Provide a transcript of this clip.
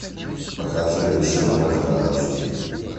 покажи вершину озера аш ди